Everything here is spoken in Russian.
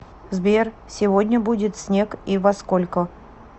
сбер сегодня будет снег и во сколько